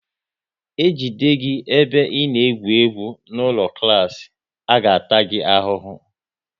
E jide gị ebe ị na-egwu egwu n'ụlọ klas, a ga ta gị ahụhụ!